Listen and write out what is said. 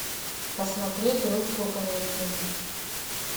посмотреть русскую комедию